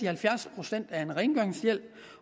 halvfjerds procent af rengøringshjælpen